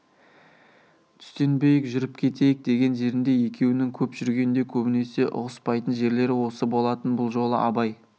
түстенбейік жүріп кетейік деген жерінде екеуінің көп жүргенде көбінесе ұғыспайтын жерлері осы болатын бұл жолы абай